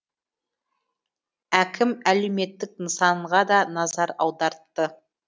әкім әлеуметтік нысанға да назар аудартты